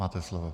Máte slovo.